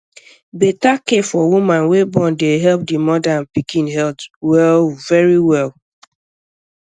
beta care for woman wey born de help di moda and pikin health well verywell